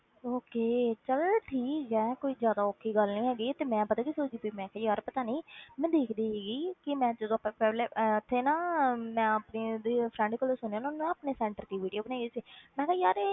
Okay ਚੱਲ ਠੀਕ ਹੈ, ਕੋਈ ਜ਼ਿਆਦਾ ਔਖੀ ਗੱਲ ਨਹੀਂ ਹੈਗੀ, ਤੇ ਮੈਂ ਪਤਾ ਕੀ ਸੋਚਦੀ ਪਈ, ਮੈਂ ਕਿਹਾ ਯਾਰ ਪਤਾ ਨੀ ਮੈਂ ਦੇਖਦੀ ਸੀਗੀ ਕਿ ਮੈਂ ਜਦੋਂ ਆਪਾਂ ਪਹਿਲੇ ਉੱਥੇ ਨਾ ਮੈਂ ਆਪਣੀ ਉਹਦੀ friend ਕੋਲੋਂ ਸੁਣਿਆ, ਉਹਨੇ ਨਾ ਆਪਣੇ center ਦੀ video ਬਣਾਈ ਹੋਈ ਸੀ ਮੈਂ ਕਿਹਾ ਯਾਰ ਇਹ